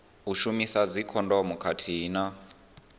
u shumisa dzikhondomu khathihi na